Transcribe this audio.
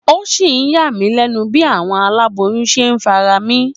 Ó sì ń yá mi lénu bí àwọn aláboyún ṣe ń farami